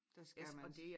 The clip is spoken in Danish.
Der skal man